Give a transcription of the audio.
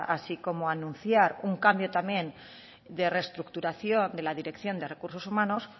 así como anunciar un cambio también de restructuración de la dirección de recursos humanos